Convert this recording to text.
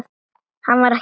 Hann var ekki einn.